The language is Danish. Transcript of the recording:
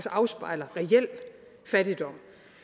afspejler reel fattigdom